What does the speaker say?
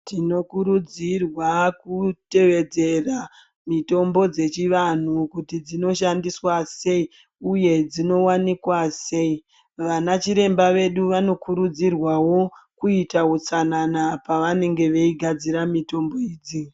Tinokurudzirwa kutevedzera mitombo dzechivanhu kuti dzinoshandiswa sei uye dzinowanikwa sei vanachiremba vedu vanokurudzirwawo kuita utsanana pavanenge vachigadzira mitombo idzi.